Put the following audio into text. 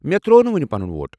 مےٚ ترٛوو نہٕ وُنہِ پنُن ووٹ۔